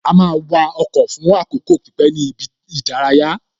A máa wa ọkọ̀ fún àkókò pípé ní ibi ìdárayá